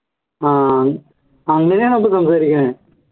ആഹ് അങ്ങനെയാണോ അപ്പോ സംസാരിക്കു